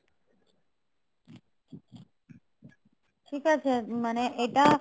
ঠিক আছে মানে এটা